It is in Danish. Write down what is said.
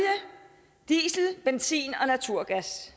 diesel benzin og naturgas